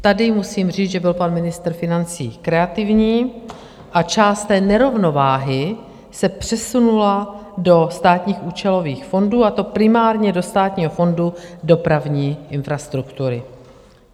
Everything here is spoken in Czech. Tady musím říct, že byl pan ministr financí kreativní a část té nerovnováhy se přesunula do státních účelových fondů, a to primárně do Státního fondu dopravní infrastruktury.